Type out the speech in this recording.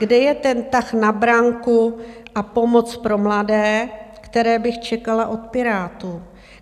Kde je ten tah na branku a pomoc pro mladé, které bych čekala od Pirátů?